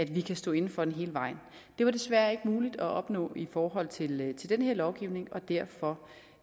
vi kan stå inde for den hele vejen det var desværre ikke muligt at opnå i forhold til den til den her lovgivning og derfor